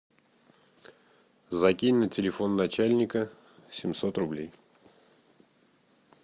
закинь на телефон начальника семьсот рублей